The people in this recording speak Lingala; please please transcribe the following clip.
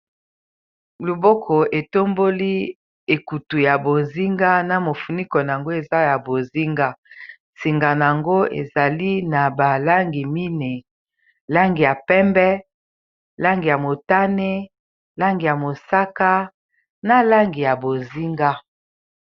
Loboko etomboli ekutu ya bozinga na mofuniko na yango eza ya bozinga singana yango ezali na balangi mine langi ya pembe langi ya motane langi ya mosaka na langi ya bozinga.